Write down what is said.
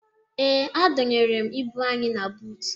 Ee, adọnyere m ibu anyị na buutu